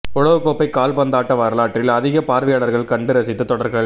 உலகக் கோப்பை கால்பந்தாட்ட வரலாற்றில் அதிக பார்வையாளர்கள் கண்டு ரசித்த தொடர்கள்